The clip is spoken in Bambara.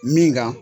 Min kan